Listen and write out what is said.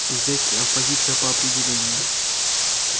зэки оппозиция по определению